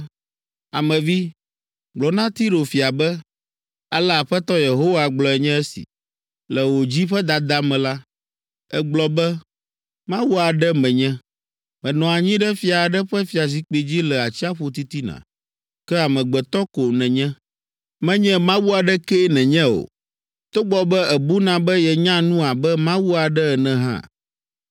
“Ame vi, gblɔ na Tiro fia be, Ale Aƒetɔ Yehowa gblɔe nye esi: Le wò dzi ƒe dada me la, ègblɔ be, “ ‘Mawu aɖe menye, menɔ anyi ɖe fia aɖe ƒe fiazikpui dzi le atsiaƒu titina.’ Ke amegbetɔ ko nènye, menye mawu aɖekee nènye o, togbɔ be èbuna be yenya nu abe mawu aɖe ene hã.